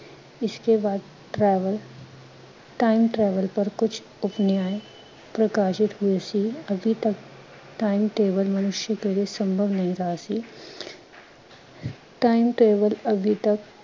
ਇਸਕੇ ਬਾਅਦ travel, time travel ਪਰ ਕੁਝ ਉਪਨਿਆਏ ਪ੍ਕਾਸ਼ਿਤ ਹੁਏ ਸੀ, ਅਭੀ ਤਕ time travel ਮਨੁਸ਼ਯ ਕੇ ਲਿਏ ਸੰਭਵ ਨਹੀਂ ਰਹਾ ਸੀ।